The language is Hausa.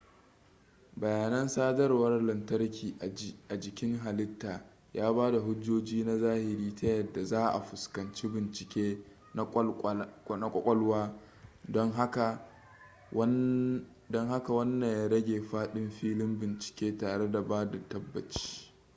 bayanan sadarwar lantarki a jikin halitta ya bada hujjoji na zahiri ta yadda za a fuskanci bincike na kwakwalwa don haka wanna ya rage fadin filin bincike tare da bada tabbaci